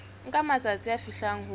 nka matsatsi a fihlang ho